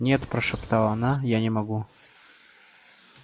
нет прошептала она я не могу